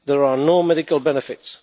There are no medical benefits.